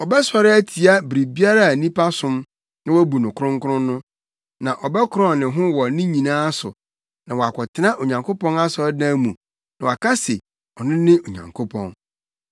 Ɔbɛsɔre atia biribiara a nnipa som na wobu no kronkron no; na ɔbɛkorɔn ne ho wɔ ne nyinaa so na wakɔtena Onyankopɔn asɔredan mu na waka se ɔno ne Onyankopɔn.